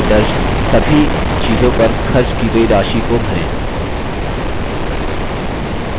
और sheet में दर्ज सभी चीज़ों पर खर्च की गयी राशि को भरें